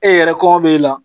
E yɛrɛ kɔngɔ b'e la